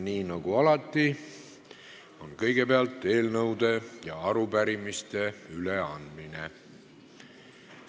Nii nagu alati on kõigepealt eelnõude ja arupärimiste üleandmine.